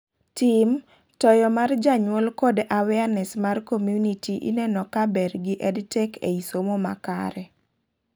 Tim, Toyo mar janyuol kod awareness mar community ineno kaber gi EdTech ei somo makare